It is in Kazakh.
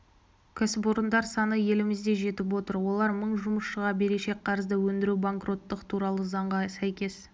кәсіпорындар саны елімізде жетіп отыр олар мың жұмысшыға берешек қарызды өндіру банкроттық туралы заңға сәйкес